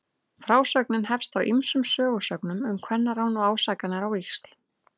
Frásögnin hefst á ýmsum sögusögnum um kvennarán og ásakanir á víxl.